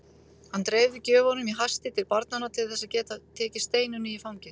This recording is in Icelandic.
Hann dreifði gjöfunum í hasti til barnanna til þess að geta tekið Steinunni í fangið.